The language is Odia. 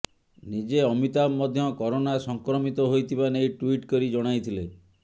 ନିଜେ ଅମିତାଭ ମଧ୍ୟ କରୋନା ସଂକ୍ରମିତ ହୋଇଥିବା ନେଇ ଟ୍ୱିଟ୍ କରି ଜଣାଇଥିଲେ